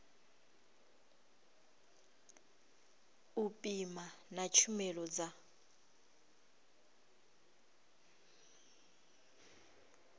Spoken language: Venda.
u pima na tshumelo dza